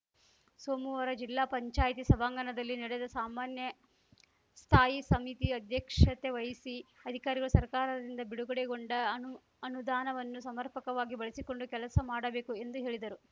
ಸೋಮುವಾರ ಜಿಲ್ಲಾ ಪಂಚಾಯ್ತಿ ಸಭಾಂಗಣದಲ್ಲಿ ನಡೆದ ಸಾಮಾನ್ಯ ಸ್ಥಾಯಿ ಸಮಿತಿ ಅಧ್ಯಕ್ಷತೆ ವಹಿಸಿ ಅಧಿಕಾರಿಗಳು ಸರ್ಕಾರದಿಂದ ಬಿಡುಗೊಡೆಗೊಂಡ ಅನುಅನುದಾನವನ್ನು ಸಮರ್ಪಕವಾಗಿ ಬಳಸಿಕೊಂಡು ಕೆಲಸ ಮಾಡಬೇಕು ಎಂದು ಹೇಳಿದರು